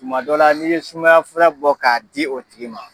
Tuma dɔ la n'i ye sumaya fura bɔ k'a di o tigi ma